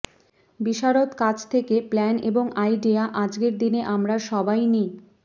বিশারদ কাছ থেকে প্ল্যান এবং আইডিয়া আজকের দিনে আমরা সবাই নি